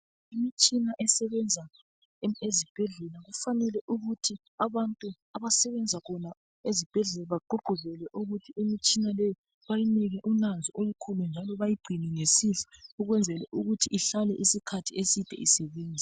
Imitshina esebenza ezibhedlela, kufanele ukuthi abantu abasebenza khona ezibhedlela bagqugquzelwe ukuthi imitshina leyi bayinike unanzo olukhulu, njalo bayigcine ngesihle ukwenzela ukuthi ihlale isikhathi eside isebenza.